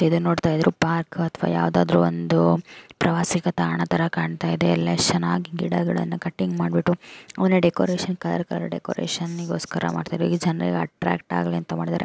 ಇದುನ್ ನೋಡ್ತಾ ಇದ್ರೆ ಪಾರ್ಕ್ ಯಾವದಾದ್ರು ಒಂದು ಪ್ರವಾಸಿಗ ತಾಣ ತರಾ ಕಾಣ್ತಾ ಇದೆ ಎಲ್ಲ ಎಶ್ ಚೆನ್ನಾಗಿ ಗಿಡಗಳ್ನ ಕಟಿಂಗ್ ಮಾಡ್ಬಿಟ್ಟು ಅವ್ನ ಡೆಕೋರೇಷನ್ ತರ್ ತರ ಡೆಕೋರೇಷನ್ ಗೋಸ್ಕರ ಮಾಡ್ತಾರೆ ಜನರಿಗೆ ಅಟ್ರಾಕ್ಟ್ ಆಗ್ಲಿ ಅಂತ ಮಾಡಿದರೆ --